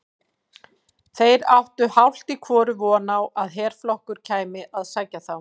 Þeir áttu hálft í hvoru von á að herflokkur kæmi að sækja þá.